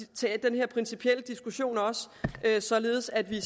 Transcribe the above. tage den principielle diskussion således at vi